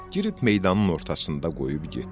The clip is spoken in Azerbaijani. Girib meydanın ortasında qoyub getdilər.